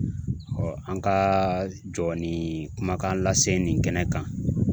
an ka jɔ ni kumakan lase nin kɛnɛ kan